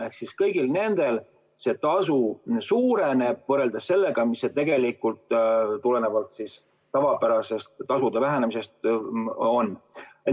Ehk siis kõigil nendel see tasu suureneb võrreldes sellega, mis see tegelikult tulenevalt tavapärasest tasude vähenemisest on.